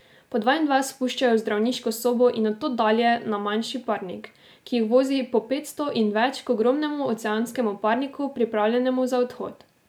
Po dva in dva spuščajo v zdravniško sobo in od tod dalje na manjši parnik, ki jih vozi po petsto in več k ogromnemu oceanskemu parniku, pripravljenemu za odhod.